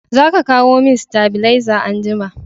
Za ka kawo min stabileza anjima